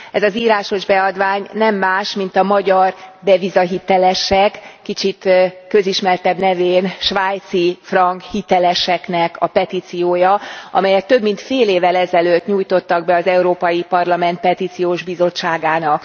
Ez az írásos beadvány nem más, mint a magyar devizahitelesek, kicsit közismertebb nevükön svájcifrank hitelesek petíciója, amelyet több, mint fél évvel ezelőtt nyújtottak be az Európai Parlament Petíciós Bizottságának.